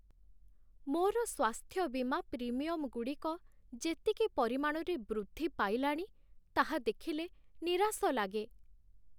ମୋର ସ୍ୱାସ୍ଥ୍ୟ ବୀମା ପ୍ରିମିୟମ୍‌ଗୁଡ଼ିକ ଯେତିକି ପରିମାଣରେ ବୃଦ୍ଧି ପାଇଲାଣି, ତାହା ଦେଖିଲେ ନିରାଶ ଲାଗେ।